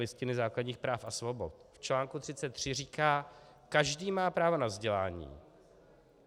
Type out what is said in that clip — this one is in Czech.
Listiny základních práv a svobod v čl. 33. říká: "Každý má právo na vzdělání."